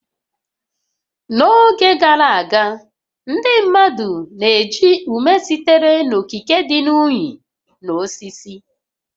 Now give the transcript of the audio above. N'oge gara aga, ndị mmadụ na-eji ume sitere n'okike dị ka unyi na osisi